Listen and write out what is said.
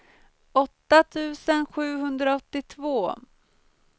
åtta tusen sjuhundraåttiotvå